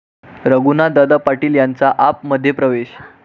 रघुनाथदादा पाटील यांचा 'आप'मध्ये प्रवेश